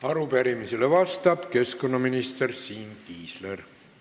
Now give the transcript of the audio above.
Arupärimisele vastab keskkonnaminister Siim Kiisler.